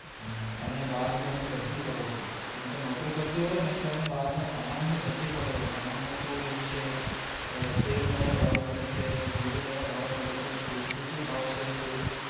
હમ્મ અને બાર ની અને બધી જ ખબર છે કેમ કે નો કરી કરતી હોય ને તો બાર ના સમાન ની બધી જ ખબર હોય સમાન નો શું રેટ છે તેલ ક્યાં ભાવે મળે છે ઝીરું ક્યાં ભાવે મળે છે દૂધ નું શું ભાવ છે ટેશ્ટ